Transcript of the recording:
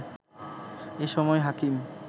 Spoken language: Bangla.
এ সময় হাকিম